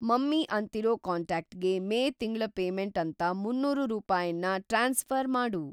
Mummy ಅಂತಿರೋ ಕಾಂಟ್ಯಾಕ್ಟ್‌ಗೆ May ತಿಂಗ್ಳ ಪೇಮೆಂಟ್‌ ಅಂತ ಮುನ್ನೂರು ರೂಪಾಯನ್ನ ಟ್ರಾನ್ಸ್‌ಫ಼ರ್‌ ಮಾಡು.